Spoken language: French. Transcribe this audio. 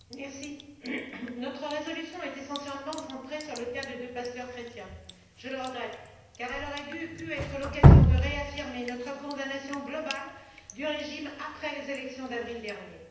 Monsieur le Président, notre résolution est essentiellement centrée sur le cas de deux pasteurs chrétiens. Je le regrette, car elle aurait pu être l'occasion de réaffirmer notre condamnation globale du régime après les élections d'avril dernier.